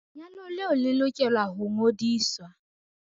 Lenyalo leo le lokela ho ngodiswa